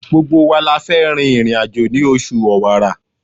Gbogbo wa la fẹ́ rin ìrìn-àjò ní oṣù Ọ̀wàrà.